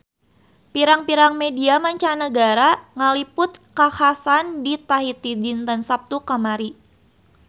Pirang-pirang media mancanagara ngaliput kakhasan di Tahiti dinten Saptu kamari